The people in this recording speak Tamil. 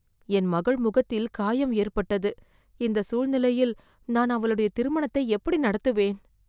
என் மகள் முகத்தில் காயம் ஏற்பட்டது, இந்த சூழ்நிலையில் நான் அவளுடைய திருமணத்தை எப்படி நடத்துவேன்